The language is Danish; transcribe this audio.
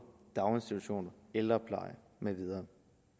daginstitutioner ældrepleje med videre